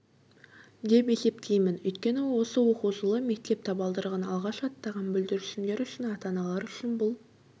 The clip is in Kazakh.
деп есептеймін өйткені осы оқу жылы мектеп табалдырығын алғаш аттаған бүлдіршіндер үшін ата-аналар үшін бұл